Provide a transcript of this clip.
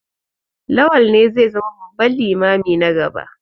Lawal ne zai zama babban limami na gaba.